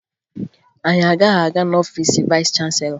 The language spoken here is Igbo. Anyị agaghị aga n'ọfiice vayịs chanselọ